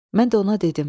Mən də ona dedim.